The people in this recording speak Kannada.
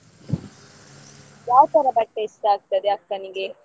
ಯಾವ ತರ ಬಟ್ಟೆ ಇಷ್ಟ ಆಗ್ತದೆ ಅಕ್ಕನಿಗೆ?